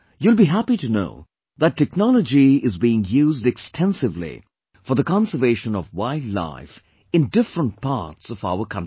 You will be happy to know that technology is being used extensively for the conservation of wildlife in different parts of our country